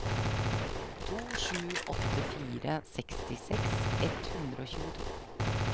to sju åtte fire sekstiseks ett hundre og tjueto